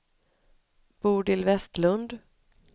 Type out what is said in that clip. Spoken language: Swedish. Bodil Westlund